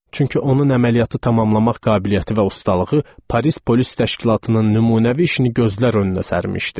Çünki onun əməliyyatı tamamlamaq qabiliyyəti və ustalığı Paris polis təşkilatının nümunəvi işini gözlər önünə sərmişdi.